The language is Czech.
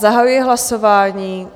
Zahajuji hlasování.